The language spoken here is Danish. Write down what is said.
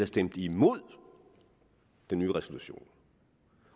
stemt imod den nye resolution